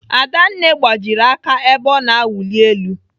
Adanne gbajiri aka ebe ọ na-awuli elu.